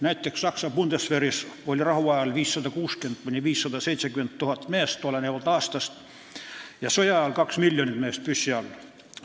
Näiteks oli Saksa Bundeswehris rahuajal 560 000 – 570 000 meest, olenevalt aastast, ja sõjaajal oleks püssi all olnud 2 miljonit meest.